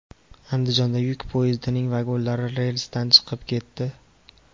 Andijonda yuk poyezdining vagonlari relsdan chiqib ketdi .